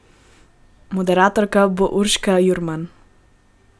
Moderatorka bo Urška Jurman.